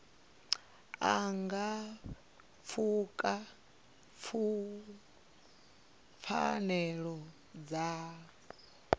a nga pfuka pfanelo dza